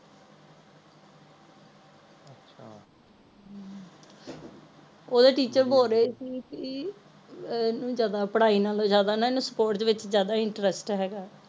ਓਹਦੇ teacher ਬੋਲ ਰਹੇ ਸੀ ਕਿ ਅਹ ਇਹਨੂੰ ਜਾਦਾ ਪੜ੍ਹਾਈ ਨਾਲੋਂ ਜਾਂਦਾ ਨਾ ਇਹਨੂੰ sports ਵਿਚ ਜਾਦਾ interest ਹੈਗਾ